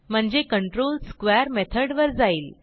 म्हणजे control square मेथडवर जाईल